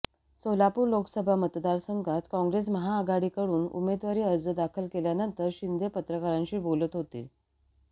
सोलापूर लोकसभा मतदारसंघात काँग्रेस महाआघाडीकडून उमेदवारी अर्ज दाखल केल्यानंतर शिंदे पत्रकारांशी बोलत होते